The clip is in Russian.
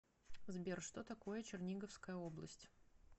сбер что такое черниговская область